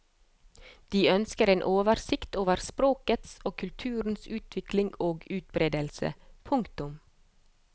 De ønsker en oversikt over språkets og kulturens utvikling og utbredelse. punktum